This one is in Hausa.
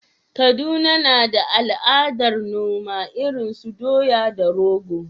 Kaduna na da al’adar noma irin su doya da rogo.